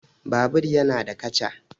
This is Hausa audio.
Babur yana da kaca